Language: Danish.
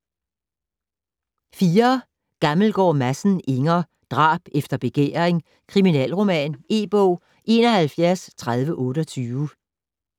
Gammelgaard Madsen, Inger: Drab efter begæring: kriminalroman E-bog 713028